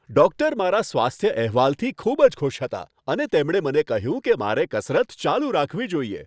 Doctor મારા સ્વાસ્થ્ય અહેવાલથી ખૂબ જ ખુશ હતા અને તેમણે મને કહ્યું કે મારે કસરત ચાલુ રાખવી જોઈએ.